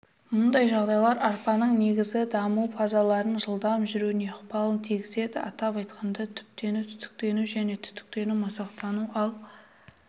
мұндай жағдайлар арпаның негізгі даму фазаларының жылдам жүруіне ықпалын тигізеді атап айтқанда түптену-түтіктену және түтіктену-масақтану ал